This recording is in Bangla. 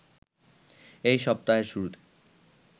এ সপ্তাহের শুরুতে